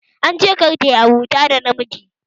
An ce kar tayi abota da maza